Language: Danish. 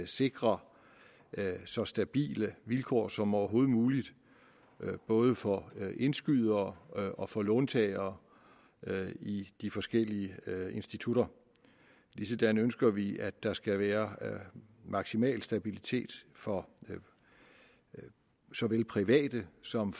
sikre så stabile vilkår som overhovedet muligt både for indskydere og for låntagere i de forskellige institutter ligesådan ønsker vi at der skal være maksimal stabilitet for såvel private som